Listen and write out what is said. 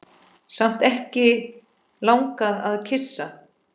Samt ekki langað að kyssa.